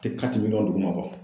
A tɛ duguma bɔ